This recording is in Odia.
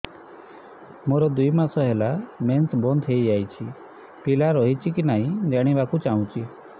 ମୋର ଦୁଇ ମାସ ହେଲା ମେନ୍ସ ବନ୍ଦ ହେଇ ଯାଇଛି ପିଲା ରହିଛି କି ନାହିଁ ଜାଣିବା କୁ ଚାହୁଁଛି